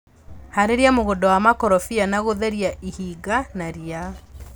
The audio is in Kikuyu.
Harĩria mũgunda wa makorobia na gũtheria ihinga na ria.